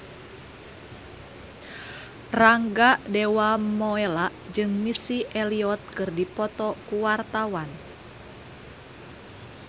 Rangga Dewamoela jeung Missy Elliott keur dipoto ku wartawan